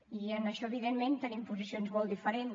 i en això evidentment tenim posicions molt diferents